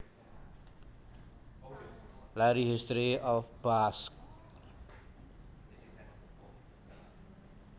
Larry History of Basque